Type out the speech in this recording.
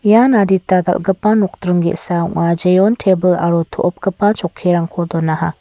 ian ian adita dal·gipa nokdring ge·sa ong·a jeon tebil aro to·opgipa chokkirangko donaha.